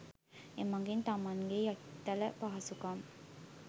එමගින් තමන්ගේ යතිතල පහසුකම්